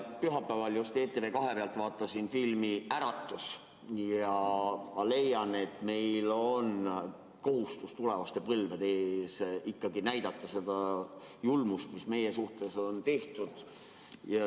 Vaatasin pühapäeval ETV2 pealt filmi "Äratus" ja ma leian, et meil on tulevaste põlvede ees ikkagi kohustus näidata seda julmust, mida meie suhtes on tehtud.